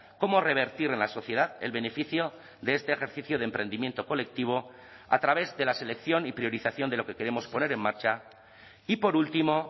cómo revertir en la sociedad el beneficio de este ejercicio de emprendimiento colectivo a través de la selección y priorización de lo que queremos poner en marcha y por último